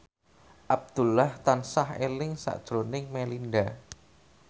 Abdullah tansah eling sakjroning Melinda